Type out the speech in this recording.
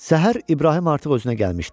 Səhər İbrahim artıq özünə gəlmişdi.